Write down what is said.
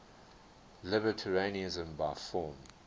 libertarianism by form